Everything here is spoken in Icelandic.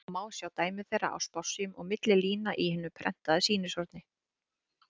og má sjá dæmi þeirra á spássíum og milli lína í hinu prentaða sýnishorni.